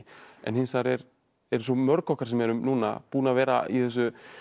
en hins vegar eru svo mörg okkar sem eru núna búin að vera í þessu